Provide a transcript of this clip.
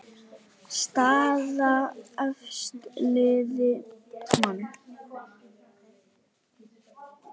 Staða efstu liða: Man.